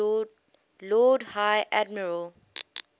lord high admiral